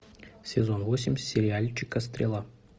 сезон восемь сериальчика стрела